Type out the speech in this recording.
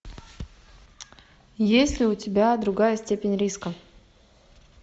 есть ли у тебя другая степень риска